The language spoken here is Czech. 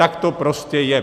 Tak to prostě je.